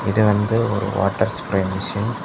இது வந்து ஒரு வாட்டர் ஸ்ப்ரே மிஷின் .